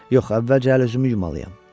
Yox, əvvəlcə əl-üzümü yumalıyam.